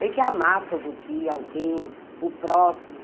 Tem que amar todo dia alguém, o próximo.